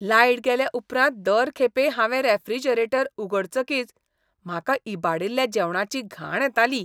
Light गेले उपरांत दर खेपे हांवें रेफ्रिजरेटर उगडचकीच म्हाका इबाडिल्ल्या जेवणाची घाण येताली.